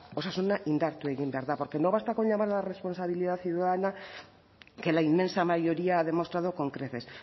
osasuna indartu egin behar da porque no basta con llamar a la responsabilidad ciudadana que la inmensa mayoría ha demostrado con creces